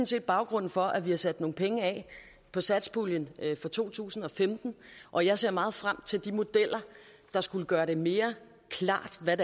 set baggrunden for at vi har sat nogle penge af på satspuljen for to tusind og femten og jeg ser meget frem til at de modeller der skulle gøre det mere klart hvad